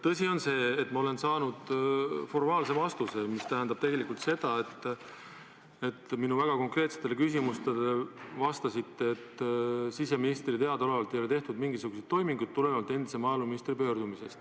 Tõsi on see, et ma olen saanud formaalse vastuse, mis tähendab tegelikult, et te vastasite minu väga konkreetsetele küsimustele, et siseministrile teadaolevalt ei ole endise maaeluministri pöördumisest tulenevalt mingisuguseid toiminguid tehtud.